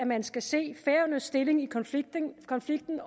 man skal se færøernes stilling i konflikten konflikten